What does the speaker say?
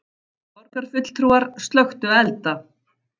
Borgarfulltrúar slökktu elda